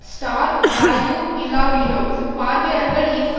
star value இல்லாவிடினும் பார்வையாளர்கள் ஈர்க்க